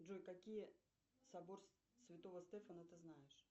джой какие собор святого стефана ты знаешь